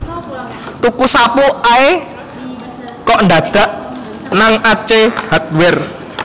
Tuku sapu ae kok dadak nang Ace Hardware